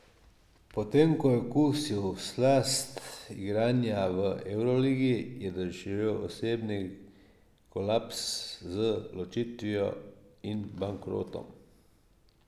Potem ko je okusil slast igranja v evroligi, je doživel osebni kolaps z ločitvijo in bankrotom.